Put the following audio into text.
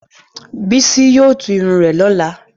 Bísí yóò tú irun rẹ lọ́la.